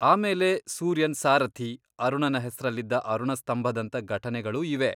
ಆಮೇಲೆ ಸೂರ್ಯನ್ ಸಾರಥಿ, ಅರುಣನ ಹೆಸ್ರಲ್ಲಿದ್ದ ಅರುಣ ಸ್ತಂಭದಂಥ ಘಟನೆಗಳೂ ಇವೆ.